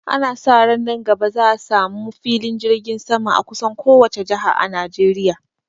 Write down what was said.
Ana sa ran nan gaba za a sa mu filin jirgin sama a kusan kowace jaha a Najeriya